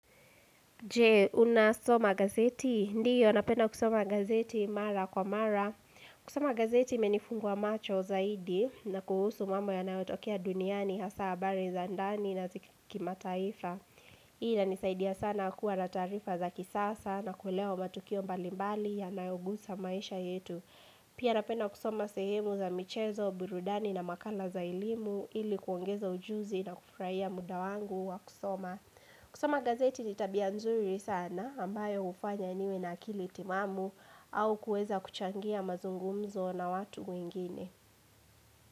Je, unasoma gazeti? Ndiyo, napenda kusoma gazeti mara kwa mara. Kusoma gazeti imenifungwa macho zaidi na kuhusu mama yanayotokea duniani hasa habari za ndani nazikimataifa. Hii inanisaidia sana kuwa na taarifa za kisasa na kuelewa matokeo mbalimbali yanaogusa maisha yetu. Pia napenda kusoma sehemu za michezo, burudani na makala za elimu ili kuongeza ujuzi na kufarahia muda wangu wa kusoma. Kusoma gazeti ni tabia nzuri sana ambayo hufanya niwe na akili timamu au kueza kuchangia mazungumzo na watu wengine.